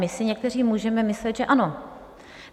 My si někteří můžeme myslet, že ano.